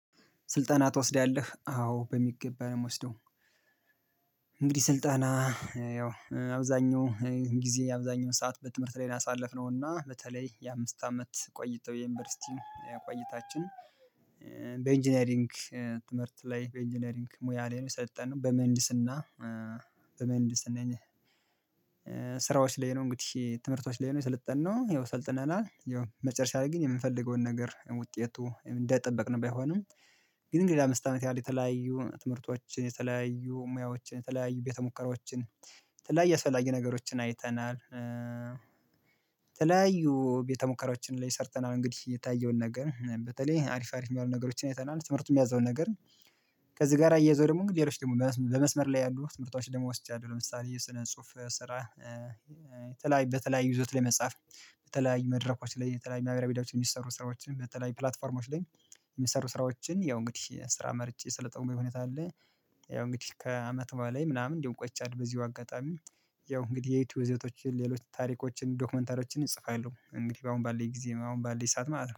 ስልጠና ትወስዳለህ? አዎ በሚገባ ነው የምወስደው። እንግዲህ ስልጠና ያው አብዛኛው ጊዜ አብዛኛውን ሰዓት በትምህርት ላይ ነው ያሳለፍነው እና በተለይ የአምስት አመት ቆይቶ የዩኒቨርሲቲ ቆታችን በኢንጅነሪንግ ትምህርት ላይ በኢንጅነሪንግ ሙያ ላይ ነው የሰለጠነው በምህንድስና በምህንድስና ነን ስራዎች ላይ ነው እንግዲህ ትምህርቶች ላይ ነው የሰለጠነው። ይኸው ሰልጥነናል ይኸው መጨረሻ ላይ ግን የምንፈልገውን ነገር ውጤቱ እንደጠበቅን ባይሆንም ግን እንግዲህ ለአምስት አመት ያህል የተለያዩ ትምህርቶችን የተለያዩ ሙያዎችን የተለያዩ ቤተ ሙከራዎችን የተለያየ አስፈላጊ ነገሮችን አይተናል የተለያዩ ቤተሙከራዎችን ላይ ሰርተናል። እንግዲህ የታየውን ነገር በተለይ አሪፍ አሪፍ የሚባሉ ነገሮችን አይተናል። ትምህርቱ ሚያዘውን ነገር ከዚህ ጋር አያዘው ደግሞ እንግዲህ ሌሎች ደግሞ በመስመር ላይ ያሉ ትምህርቶች ደግሞ ወስጃለሁ። ለምሳሌ የሰነ ጽሁፍ ስራ የተለያዩ በተለዩ ይዘት ላይ መጻፍ በተለያዩ መድረኮች ላይ በተለያዩ ማህበራዊ ሚዲያዎች የሚሰሩ ስራዎችን በተለይ ፕላትፎርሞች ላይ የሚሰሩ ስራዎችን ያው እንግዲህ ስራ መርጬ የሰለጠንኩኝ ሁኔታ አለ ያው እንግዲህ ከአመት በላይ ምናምን እንዲሁ ቆይቻለሁ በዚሁ አጋጣሚ ያው እንግዲህ የዩቲዩብ ይዘቶችን ሌሎች ታሪኮችን ዶክመንተሪዎችን እጽፋለሁ እንግዲህ በአሁን ባለኝ ጊዜ አሁን ባለኝ ሰዓት ማለት ነው